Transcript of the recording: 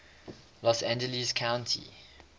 los angeles county